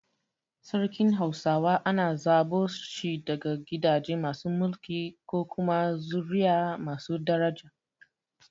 Sarkin hausawa ana zaɓo shi daga gidaje masu mulki ko kuma zuri’a masu daraja.